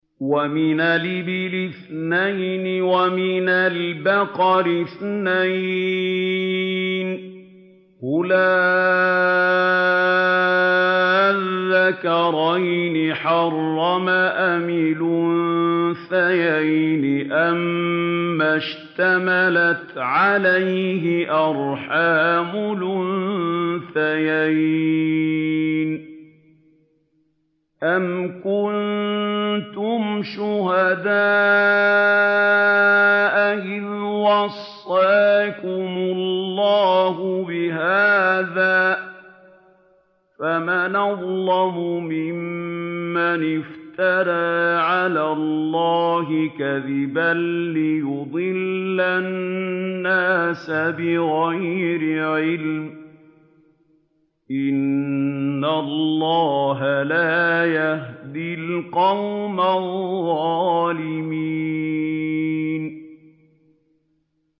وَمِنَ الْإِبِلِ اثْنَيْنِ وَمِنَ الْبَقَرِ اثْنَيْنِ ۗ قُلْ آلذَّكَرَيْنِ حَرَّمَ أَمِ الْأُنثَيَيْنِ أَمَّا اشْتَمَلَتْ عَلَيْهِ أَرْحَامُ الْأُنثَيَيْنِ ۖ أَمْ كُنتُمْ شُهَدَاءَ إِذْ وَصَّاكُمُ اللَّهُ بِهَٰذَا ۚ فَمَنْ أَظْلَمُ مِمَّنِ افْتَرَىٰ عَلَى اللَّهِ كَذِبًا لِّيُضِلَّ النَّاسَ بِغَيْرِ عِلْمٍ ۗ إِنَّ اللَّهَ لَا يَهْدِي الْقَوْمَ الظَّالِمِينَ